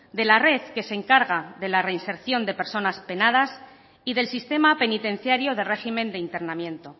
de la red que se encarga de la reinserción de personas penadas y del sistema penitenciario de régimen de internamiento